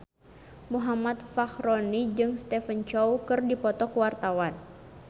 Muhammad Fachroni jeung Stephen Chow keur dipoto ku wartawan